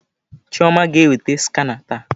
Chioma ga-eweta skana taa.